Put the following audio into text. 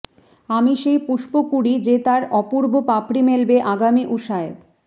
আমি সেই পুষ্পকুঁড়ি যে তার অপূর্ব পাপড়ি মেলবে আগামী উষায়